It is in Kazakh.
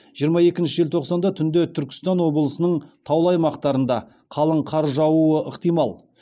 жиырма екінші желтоқсанда түнде түркістан облысының таулы аймақтарында қалың қар жаууы ықтимал